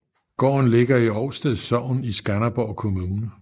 Gården ligger i Ovsted Sogn i Skanderborg Kommune